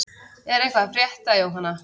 Er eitthvað að frétta Jóhanna?